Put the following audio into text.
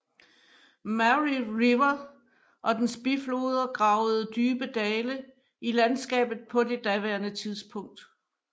Mary River og dens bifloder gravede dybe dale i landskabet på det daværende tidspunkt